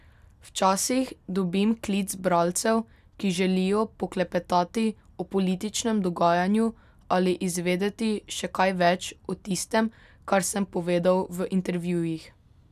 Včasih dobim klic bralcev, ki želijo poklepetati o političnem dogajanju ali izvedeti še kaj več o tistem, kar sem povedal v intervjujih.